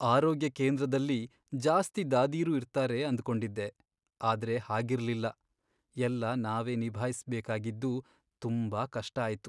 ಆರೋಗ್ಯ ಕೇಂದ್ರದಲ್ಲಿ ಜಾಸ್ತಿ ದಾದೀರು ಇರ್ತಾರೆ ಅಂದ್ಕೊಂಡಿದ್ದೆ, ಆದ್ರೆ ಹಾಗಿರ್ಲಿಲ್ಲ. ಎಲ್ಲ ನಾವೇ ನಿಭಾಯ್ಸ್ಬೇಕಾಗಿದ್ದು ತುಂಬಾ ಕಷ್ಟ ಆಯ್ತು.